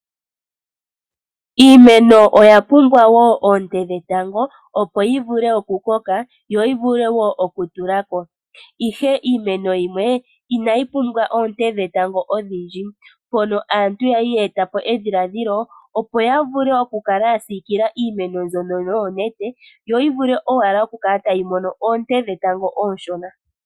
Iimeno oya pumbwa wo oonte dhetango opo yi vule okukoka yo yi vule wo okutula ko, ihe iimeno yimwe inayi pumbwa oonte dhetango odhindji. Aantu oya li ye eta po edhiladhilo ya kale ya siikila iimeno mbyono noonete yo yi vule okukala owala tayi mono oonte dhetango oonshona.